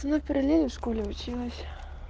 ну перелили в школе училась